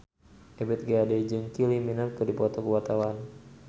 Ebith G. Ade jeung Kylie Minogue keur dipoto ku wartawan